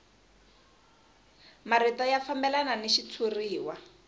marito ya fambelana ni xitshuriwa